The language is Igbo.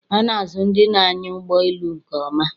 A na-azụ ndị na-anya ụgbọ elu nke ọma